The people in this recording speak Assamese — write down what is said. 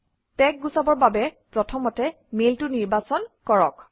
টেগ গুচাবৰ বাবে প্ৰথমতে মেইলটো নিৰ্বাচন কৰক